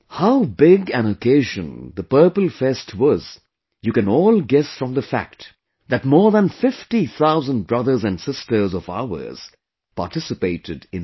How big an occasion Purple Fest was, you can all guess from the fact that more than 50 thousand brothers and sisters of ours participated in it